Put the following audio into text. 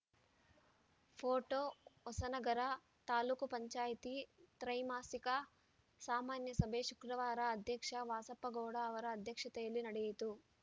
photo Hosanagara taluk panchayat ತ್ರೈಮಾಸಿಕ ಸಾಮಾನ್ಯ ಸಭೆ ಶುಕ್ರವಾರ ಅಧ್ಯಕ್ಷ ವಾಸಪ್ಪಗೌಡ ಅವರ ಅಧ್ಯಕ್ಷತೆಯಲ್ಲಿ ನಡೆಯಿತು